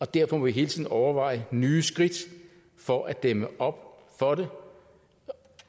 derfor må vi hele tiden overveje nye skridt for at dæmme op for det